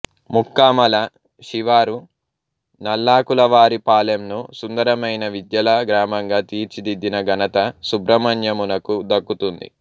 ముక్కామల శివారు నల్లాకులవారిపాలెంను సుందరమైన విద్యల గ్రామంగా తీర్చిదిద్దిన ఘనత సుబ్రహ్మణ్యమునకు దక్కుతుంది